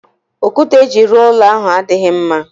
Okwute eji ruo ulo ahu adighi mma